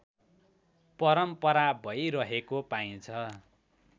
परम्परा भइरहेको पाइन्छ